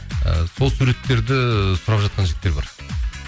ы сол суреттерді сұрап жатқан жігіттер бар